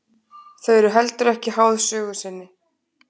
Þau eru heldur ekki háð sögu sinni.